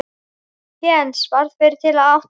Heinz varð fyrri til að átta sig.